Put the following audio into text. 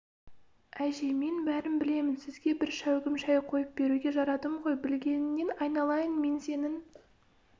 әже мен бәрін білемін сізге бір шәугім шай қойып беруге жарадым ғой білгеніңнен айналайын мен сенің